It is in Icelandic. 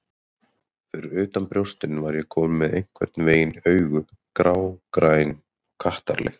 Fyrir utan brjóstin var ég komin með einhvern veginn augu, grágræn og kattarleg.